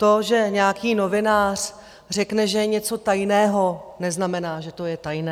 To, že nějaký novinář řekne, že je něco tajného, neznamená, že to je tajné.